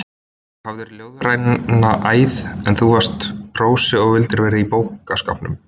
Þú hafðir ljóðræna æð, en þú varst prósi og vildir vera í bókaskápnum.